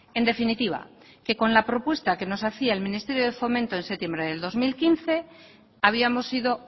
en definitiva que con la propuesta que nos hacía el ministerio de fomento en septiembre de dos mil quince habíamos ido